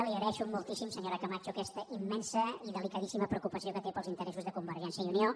li agraeixo moltíssim senyora camacho aquesta immensa i delicadíssima preocupació que té pels interessos de convergència i unió